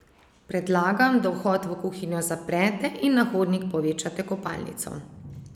Predlagam, da vhod v kuhinjo zaprete in na hodnik povečate kopalnico.